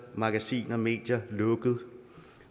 magasiner medier lukket